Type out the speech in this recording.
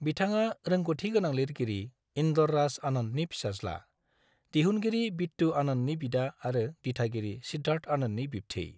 बिथाङा रोंगथि गोनां लिरगिरि इन्दर राज आनन्दनि फिसाज्ला, दिहुनगिरि बिट्टु आनन्दनि बिदा आरो दिथागिरि सिद्धार्थ आनन्दनि बिब्थै।